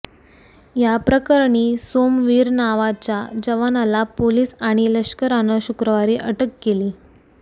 या प्रकरणी सोमवीर नावाच्या जवानाला पोलीस आणि लष्करानं शुक्रवारी अटक केली